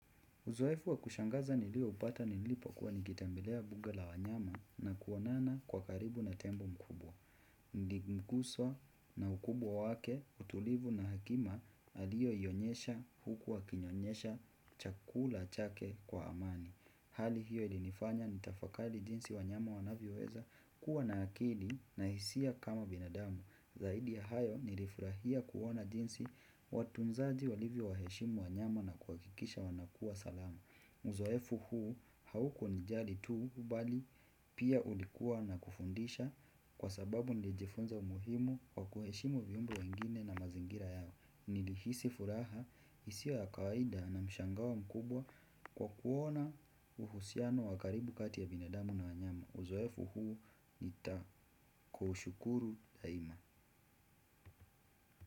Uzoefu wa kushangaza nilioupata nilipokuwa nikitembelea mbuga la wanyama na kuonana kwa karibu na tembo mkubwa. Niliguzwa na ukubwa wake, utulivu na hekima alioionyesha huku akinyonyesha chakula chake kwa amani. Hali hiyo ilinifanya nitafakari jinsi wanyama wanavyoweza kuwa na akili na hisia kama binadamu. Zaidi ya hayo nilifurahia kuona jinsi watunzaji walivyowaheshimu wanyama na kuhakikisha wanakuwa salama. Uzoefu huu haukunijali tu bali pia ulikuwa na kufundisha kwa sababu nilijifunza umuhimu wa kuheshimu viumbe wengine na mazingira yao. Nilihisi furaha isiyo ya kawaida na mshangao mkubwa kwa kuona uhusiano wa karibu kati ya binadamu na wanyama. Uzoefu huu nitakuushukuru daima.